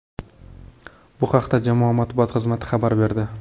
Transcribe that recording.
Bu haqda jamoa matbuot xizmati xabar berdi .